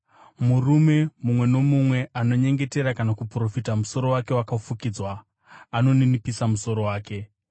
Murume mumwe nomumwe anonyengetera kana kuprofita musoro wake wakafukidzwa, anoninipisa musoro wake.